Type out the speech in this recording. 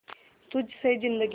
तुझ से जिंदगी